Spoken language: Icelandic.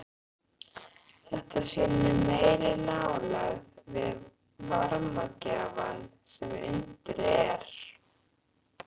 Þetta sýnir meiri nálægð við varmagjafann sem undir er.